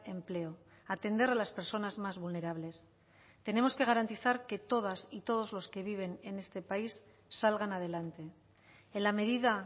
empleo atender a las personas más vulnerables tenemos que garantizar que todas y todos los que viven en este país salgan adelante en la medida